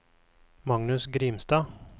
Magnus Grimstad